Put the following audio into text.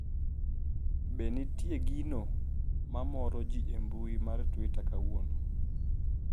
be nitie gino ma moro jii e mbui mar twita kawuono